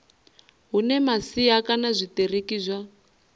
hune masia kana zwitiriki zwa